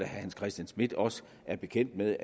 hans christian schmidt også er bekendt med